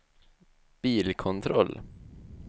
bilkontroll